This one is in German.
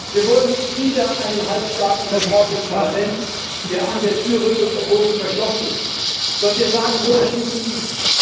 Wir wollen nicht wieder einen halbstarken Bericht des Parlaments, der an der Tür rüttelt, obwohl sie verschlossen ist, sondern wir sagen, wo der Schlüssel liegt.